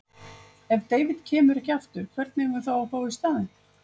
Ef David kemur ekki aftur, hvern eigum við þá að fá í staðinn?